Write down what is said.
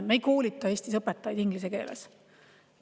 Me ei koolita Eestis õpetajaid inglise keeles.